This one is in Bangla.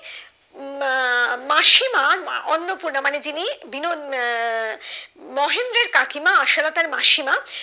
উম মাসিমা অন্নপূর্ণা মানে যিনি বিন আহ মহেন্দ্রের কাকিমা আশালতার মাসিমা